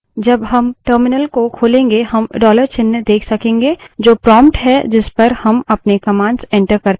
जब हम terminal को खोलेंगे हम dollar चिन्ह देख सकेंगे जो prompt है जिस पर हम अपने commands enter करते है